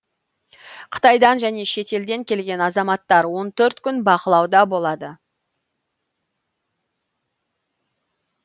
қытайдан және шетелден келген азаматтар он төрт күн бақылауда болады